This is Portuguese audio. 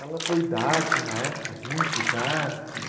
Ela foi dark uma época, hippie, dark.